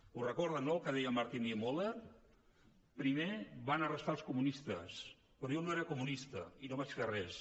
ho recorden no el que deia martin niemöller primer van arrestar els comunistes però jo no era comunista i no vaig fer res